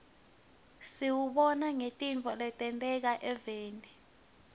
siwubona ngetintfo letenteka evfni